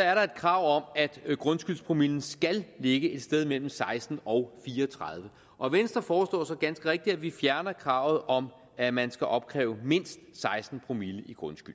er der et krav om at grundskyldspromillen skal ligge et sted mellem seksten og fire og tredive og venstre foreslår så ganske rigtigt at vi fjerner kravet om at man skal opkræve mindst seksten promille i grundskyld